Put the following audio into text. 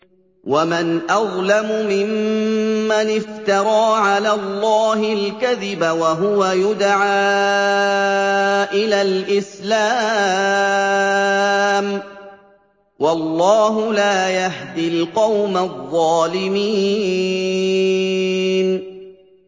وَمَنْ أَظْلَمُ مِمَّنِ افْتَرَىٰ عَلَى اللَّهِ الْكَذِبَ وَهُوَ يُدْعَىٰ إِلَى الْإِسْلَامِ ۚ وَاللَّهُ لَا يَهْدِي الْقَوْمَ الظَّالِمِينَ